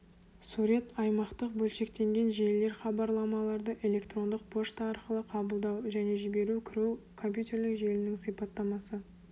сурет аймақтық бөлшектенген желілер хабарламаларды электрондық пошта арқылы қабылдау және жіберу кіру компьютерлік желінің сипаттамасы